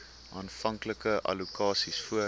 aanvanklike allokasies voor